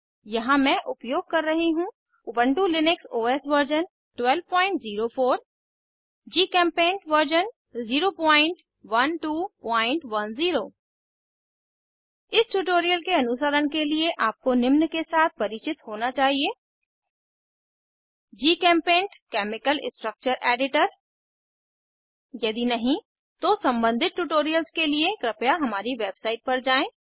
यहाँ मैं उपयोग कर रही हूँ Ubuntu Linux OS version 1204 GChemPaint version 01210 इस ट्यूटोरियल के अनुसरण के लिए आपको निम्न के साथ परिचित होना चाहिए जीचेम्पेंट केमिकल स्ट्रक्चर एडिटर यदि नहीं तो सम्बंधित ट्यूटोरियल्स के लिए कृपया हमारी वेबसाइट पर जाएँ